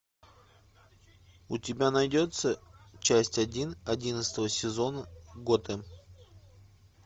у тебя найдется часть один одиннадцатого сезона готэм